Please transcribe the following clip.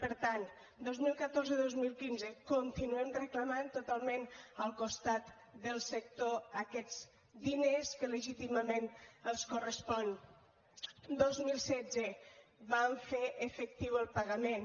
per tant dos mil catorze dos mil quinze continuem reclamant totalment al costat del sector aquests diners que legítimament els correspon dos mil setze vam fer efectiu el pagament